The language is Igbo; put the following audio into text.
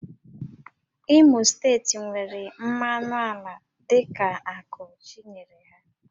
Imo steeti nwere mmanụ ala dịka ákụ́ Chi nyere ha